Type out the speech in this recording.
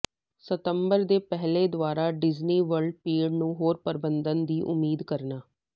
ਸਤੰਬਰ ਦੇ ਪਹਿਲੇ ਦੁਆਰਾ ਡਿਜ਼ਨੀ ਵਰਲਡ ਭੀੜ ਨੂੰ ਹੋਰ ਪ੍ਰਬੰਧਨ ਦੀ ਉਮੀਦ ਕਰਨਾ